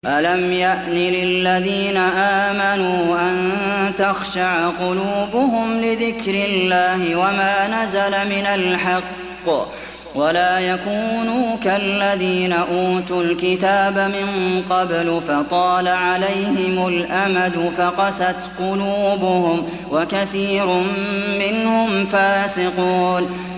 ۞ أَلَمْ يَأْنِ لِلَّذِينَ آمَنُوا أَن تَخْشَعَ قُلُوبُهُمْ لِذِكْرِ اللَّهِ وَمَا نَزَلَ مِنَ الْحَقِّ وَلَا يَكُونُوا كَالَّذِينَ أُوتُوا الْكِتَابَ مِن قَبْلُ فَطَالَ عَلَيْهِمُ الْأَمَدُ فَقَسَتْ قُلُوبُهُمْ ۖ وَكَثِيرٌ مِّنْهُمْ فَاسِقُونَ